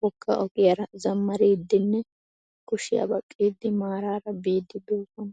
wogga ogiyara zammariiddinne kushiyaa baqqiiddi maaraara biiddi de'oosona.